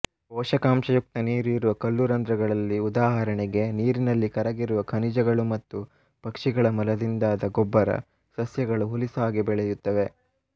ಪೋಷಕಾಂಶಯುಕ್ತ ನೀರು ಇರುವ ಕಲ್ಲು ರಂದ್ರಗಳಲ್ಲಿ ಉದಾಹರಣೆಗೆ ನೀರಿನಲ್ಲಿ ಕರಗಿರುವ ಖನಿಜಗಳು ಮತ್ತು ಪಕ್ಷಿಗಳ ಮಲದಿಂದಾದ ಗೊಬ್ಬರಸಸ್ಯಗಳು ಹುಲುಸಾಗಿ ಬೆಳೆಯುತ್ತವೆ